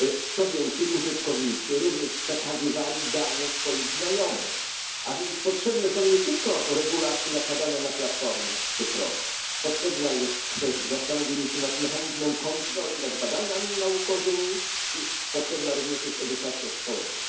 Co więcej, użytkownicy również przekazywali dane swoich znajomych, a więc potrzebne są nie tylko regulacje nakładane na platformy cyfrowe. Potrzebne jest zastanowienie się nad mechanizmem kontroli nad badaniami naukowymi i potrzebna jest również edukacja społeczeństwa.